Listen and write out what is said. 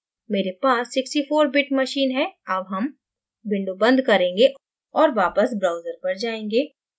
मेरे पास 64 bit machine है अब हम window बंद करेंगें और वापस browser पर जाएँगें